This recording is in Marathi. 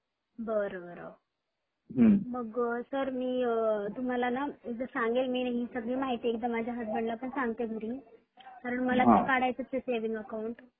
बर बर मग सर मी तुम्हाला न एकदा सांगेल मी न हि सगळी माहिती एकदा माझ्या हसबंड ला पण सांगते घरी कारण मला ते काढायचेच आहे सेविंग अकाउंट